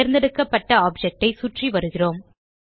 தேர்ந்தெடுக்கப்பட்ட ஆப்ஜெக்ட் ஐ சுற்றி வருகிறோம்